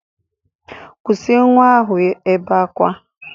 Kwụsị nwa ahụ ibe akwa!